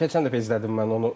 Dünən, keçən dəfə izlədim mən onu.